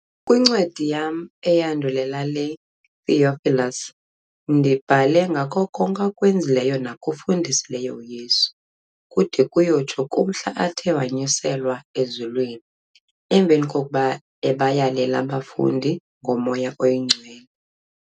Kwincwadi yam iyandulela le, Theophilus, ndibhale ngako konke akwenzileyo nakufundisileyo uYesu, kude kuyotsho kumhla athe wanyuselwa ezulwini, emveni kokuba ebayalele abafundi ngoMoya Oyingcwele.